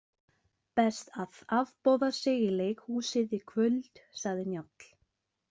Best að afboða sig í leikhúsið í kvöld, sagði Njáll.